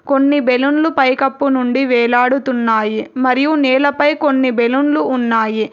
కొన్ని బెలూన్లు పైకప్పు నుండి వేలాడుతున్నాయి మరియు నేలపై కొన్ని బెలూన్లు ఉన్నాయి.